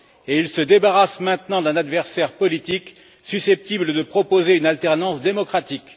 Il se débarrasse maintenant d'un adversaire politique susceptible de proposer une alternance démocratique.